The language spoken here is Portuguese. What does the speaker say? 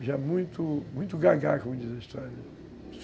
E... Já muito... Muito gaga, como diz a história.